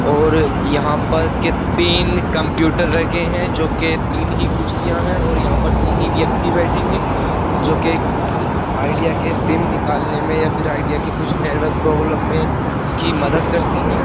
और यहां पर के तीन कंप्यूटर रखे हैं जो के तीन ही कुर्सियां हैं और यहां पर तीन ही व्यक्ति बैठेंगे जो के-कि आईडिया के सिम निकालने में या फिर आईडिया के कुछ नेटवर्क प्रॉब्लम में उसकी मदद करते हैं।